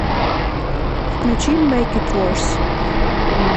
включи мэйк ит ворс